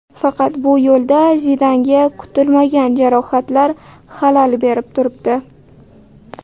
Faqat bu yo‘lda Zidanga kutilmagan jarohatlar xalal berib turibdi.